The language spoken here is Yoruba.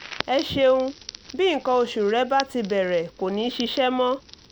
ẹ ṣeun bí nǹkan oṣù rẹ bá ti bẹ̀rẹ̀ kò ní ṣiṣẹ́ mọ́